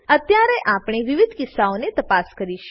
અત્યારે આપણે વિવિધ કિસ્સાઓને તપાસ કરીશું